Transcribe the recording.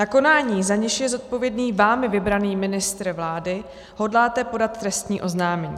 Na konání, za něž je zodpovědný vámi vybraný ministr vlády, hodláte podat trestní oznámení.